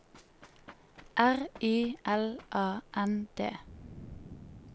R Y L A N D